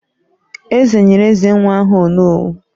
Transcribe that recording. Eze nyere Ezenwa aha "Onowu"